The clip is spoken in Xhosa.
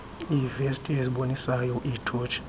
iivesti ezibonisayo iithotshi